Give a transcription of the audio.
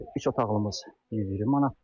Üç otaqlımız 70 manatdır.